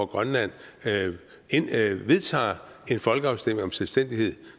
grønland vedtager en folkeafstemning om selvstændighed